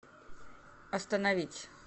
остановить